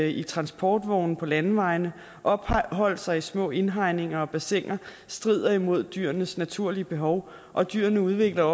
i transportvogne på landeveje opholde sig i små indhegninger og bassiner strider imod dyrenes naturlige behov og dyrene udvikler